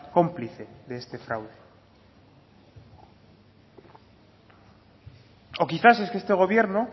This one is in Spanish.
cómplice de este fraude o quizás es que este gobierno